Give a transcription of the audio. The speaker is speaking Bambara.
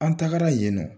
An tagara yen nɔ